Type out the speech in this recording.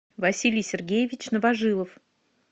василий сергеевич новожилов